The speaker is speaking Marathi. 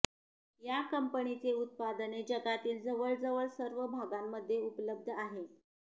या कंपनीचे उत्पादने जगातील जवळजवळ सर्व भागांमध्ये उपलब्ध आहे